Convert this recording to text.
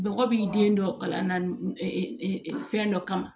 Bɔgɔ b'i den dɔ kalan na fɛn dɔ kama